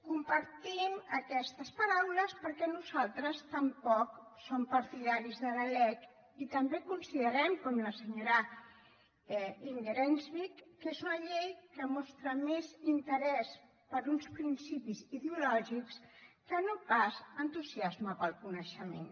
compartim aquestes paraules perquè nosaltres tampoc som partidaris de la lec i també considerem com la senyora inger enkvist que és una llei que mostra més interès per uns principis ideològics que no pas entusiasme pel coneixement